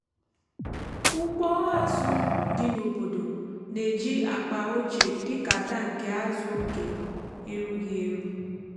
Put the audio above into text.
ụgbọ azụ dị n’obodo na-eji akpa ochie dị ka tankị azụ oge erughị eru.